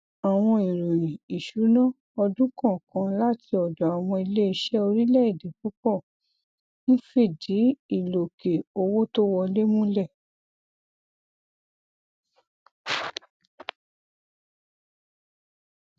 àwọn ìròyìn ìṣúná ọdún kọọkan láti ọdọ àwọn iléiṣẹ orílẹèdè púpọ ń fìdí ìlòkè owó to wọlé múlẹ